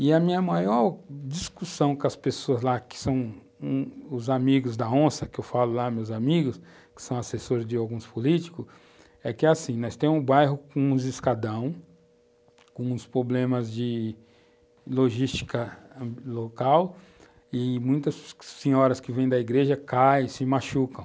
E a minha maior discussão com as pessoas lá, que são os amigos da onça, que eu falo lá, meus amigos, que são assessores de alguns políticos, é que é assim, nós temos um bairro com uns escadão, com uns problemas de logística local, e muitas senhoras que vêm da igreja caem, se machucam.